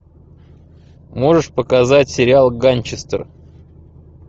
можешь показать сериал ганчестер